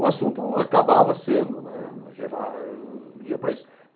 O assunto acabava sendo, né, no geral ia para isso.